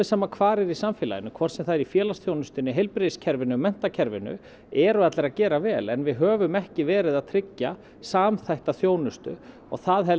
sama hvar er í samfélaginu hvort sem það er í félagsþjónustunni heilbrigðiskerfinu menntakerfinu eru allir að gera vel en við höfum ekki verið að tryggja samþætta þjónustu og það